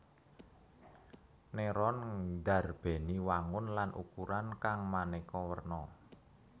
Neuron ndarbèni wangun lan ukuran kang manéka werna